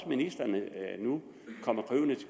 ministeren nu